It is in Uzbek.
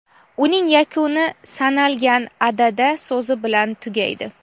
uning yakuni "sanalgan" (adada) so‘zi bilan tugaydi.